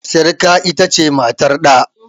Sirika ita ce matar ɗa.